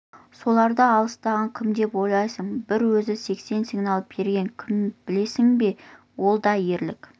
соларды аластаған кім деп ойлайсың бір өзі сексен сигнал берген кім білесің бе сол да ерлік